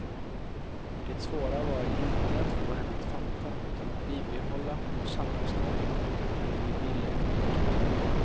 Det svåra var inte att få henne att fatta utan att bibehålla vårt samförstånd när vi ville olika.